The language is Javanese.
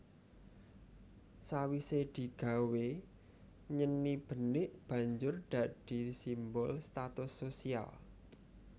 Sawise digawé nyeni benik banjur dadi simbol status sosial